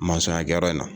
ya kɛyɔrɔ in na